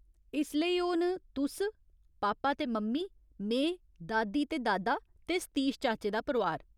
इसलेई ओह् न तुस, पापा ते मम्मी, में, दादी ते दादा, ते सतीश चाचे दा परोआर।